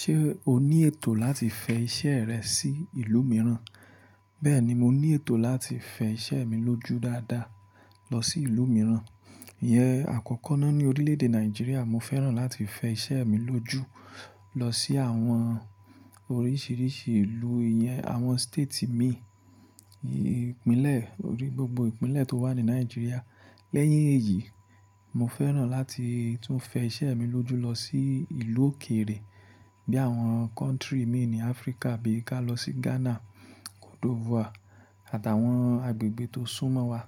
Ṣé o ní ètò láti fẹ iṣẹ́ rẹ sí ìlú mìíràn? Bẹ́ẹ̀ni, mo ní ètò láti fẹ iṣẹ́ mi lójú dáadáa lọ sí ìlú mìíràn. Iyẹn àkọ́kọ́ ná ní orílẹ̀-èdè Nàìjíríà. Mo fẹ́ràn láti fẹ iṣẹ́ mi lójú lọ sí àwọn oríṣìíríṣìí ìlú, iyẹn àwọn state mi, ìpínlẹ̀ orí gbogbo ìpínlẹ̀ tó wà ní Nàìjíríà. Lẹ́yìn èyí, mo fẹ́ràn láti tún fẹ iṣẹ́ mi lójú lọ sí ìlú òkèrè bí àwọn country mi ní Áfríkà bí i ká lọ sí Ghana, Côte d'Ivoire àtàwọn agbègbè tó sún mọ́ wa.